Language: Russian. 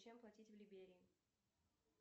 чем платить в либерии